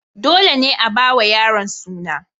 Dole ne a ba wa yaron suna.